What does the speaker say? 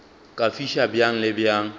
ka fiša bjang le bjang